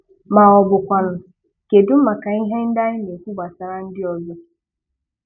Ma ọ bụkwanụ kedụ maka ihe ndị anyị na-ekwu gbasàrà ndị ọzọ?